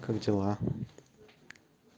как дела